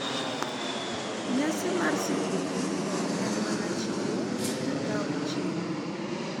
Nyasi mar skuku ok en mana chiwo kata kawo chiwo.